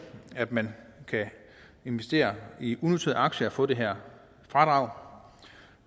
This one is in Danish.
at man kan investere i unoterede aktier og få det her fradrag